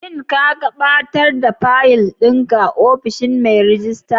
Shin ka gaɓatar da faƴil ɗin ka a ofishin mai rejista?